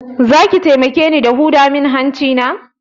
Zaki taimake ni da huda mun hanci na?